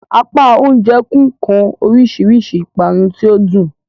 Apá oúnjẹ nfun kan orísirísi ipanu tí o dun.